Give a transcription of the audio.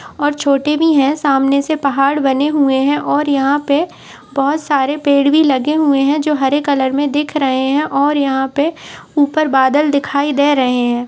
और छोटी भी है सामने से पहाड़ बने हुए हैं और यहां पे बहोत सारे पेड़ भी लगे हुए हैं जो हरे कलर में दिख रहे हैं और यहां पे ऊपर बादल दिखाई दे रहे हैं।